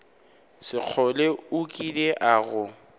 sekgole o kile a go